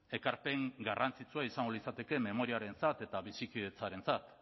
ekarpen garrantzitsua izango litzateke memoriarentzat eta bizikidetzarentzat